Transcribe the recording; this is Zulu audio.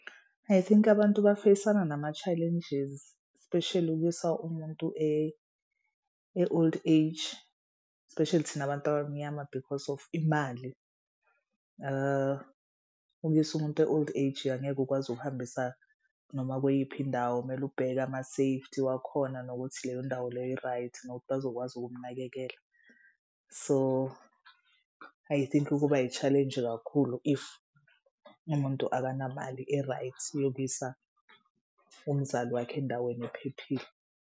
I think abantu ba-face-ana nama-challenges especially ukuyisa umuntu e-old age. Especially thina abantu abamnyama because of imali ukuyisa umuntu e-old age angeke ukwazi ukuhambisa noma kuyiphi indawo. Kumele ubheke ama-safety wakhona nokuthi leyo ndawo leyo i-right nokuthi bazokwazi ukumnakekela. So I think kuba i-challenge kakhulu if umuntu akanamali e-right yokuyisa umzali wakhe endaweni ephephile.